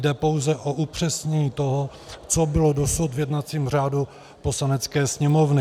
Jde pouze o upřesnění toho, co bylo dosud v jednacím řádu Poslanecké sněmovny.